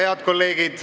Ilusat päeva!